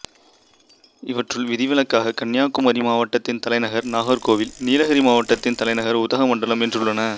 இவற்றுள் விதிவிலக்காக கன்னியாகுமரி மாவட்டத்தின் தலைநகர் நாகர்கோவில் நீலகிரி மாவட்டத்தின் தலைநகர் உதகமண்டலம் என்றுள்ளன